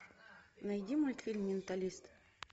найди мультфильм менталист